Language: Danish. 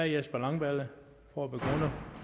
jesper langballe og herre